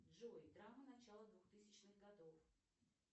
джой драма начала двухтысячных годов